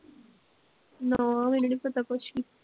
ਨਾ ਮੈਨੂੰ ਨੀ ਪਤਾ ਕੁਸ਼ ਵੀ